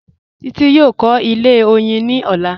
Títí yóò kọ̀ ilẹ̀ oyin ní ọ̀lá